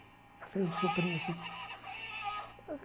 Ela fez um soprinho assim